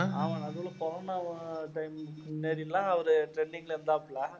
ஆமா நடுவுல corona time முன்னாடில்லாம் அவரு trending ல இருந்தாப்புல